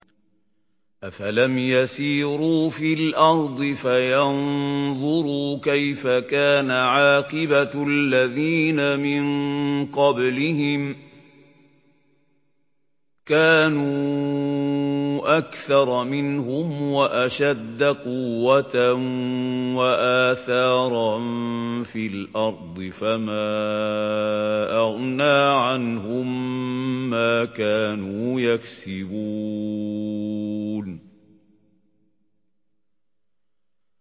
أَفَلَمْ يَسِيرُوا فِي الْأَرْضِ فَيَنظُرُوا كَيْفَ كَانَ عَاقِبَةُ الَّذِينَ مِن قَبْلِهِمْ ۚ كَانُوا أَكْثَرَ مِنْهُمْ وَأَشَدَّ قُوَّةً وَآثَارًا فِي الْأَرْضِ فَمَا أَغْنَىٰ عَنْهُم مَّا كَانُوا يَكْسِبُونَ